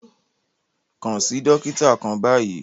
Kàn sí dòkìtà kàn báyì!